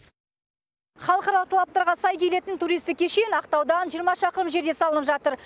халықаралық талаптарға сай келетін туристік кешен ақтаудан жиырма шақырым жерде салынып жатыр